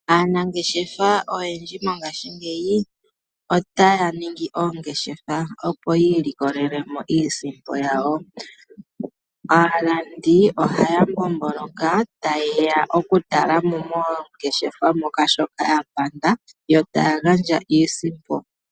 Aanangesha oyendji mongaashi ngeyi, otaya ningi oongeshefa, opo yi ilikolele mo iisimpo yawo. Aalandi ohaya mbomboloka tayeya oku tala mo moongeshefa moka shoka ya panda, yo taya gandja iisimpo.